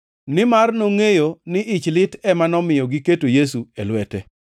Nimar nongʼeyo ni ich lit ema nomiyo giketo Yesu e lwete.